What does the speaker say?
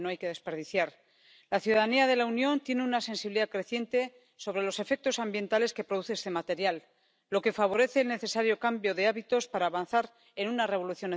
Měli bychom řešit tyto problémy proto, abychom neměli překážky v oběhovém hospodářství. Ambicí musí být dosažení plného souladu mezi právními předpisy. Mám tedy následující dvě otázky na